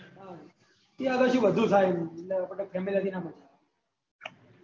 ત્યાં આગળ બધું થાય એટલે આપને family ના જવાય